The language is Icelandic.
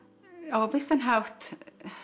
á vissan hátt